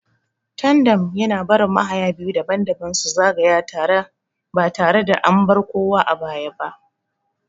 Tandem yana barin mahaya biyu daban-daban su zagaya tare ba tare da an bar kowa a baya ba.